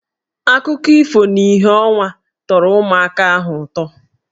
Akụkọ ifo n'ìhè ọnwa tọrọ ụmụaka ahụ ụtọ